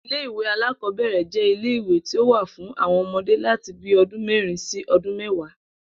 Ilé ìwé alákò̩ó̩bè̩rè̩ jé̩ ilé ìwé tí ó wà fún àwo̩n o̩mo̩dé láti bíi o̩dún mé̩rin sí o̩dún mé̩wàá